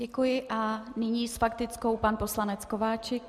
Děkuji a nyní s faktickou pan poslanec Kováčik.